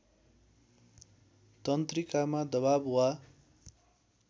तन्त्रिकामा दबाव वा